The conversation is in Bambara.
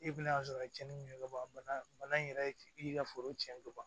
E bɛna sɔrɔ a ye cɛnni min kɛ ka ban bana in yɛrɛ i y'i ka foro cɛn ka ban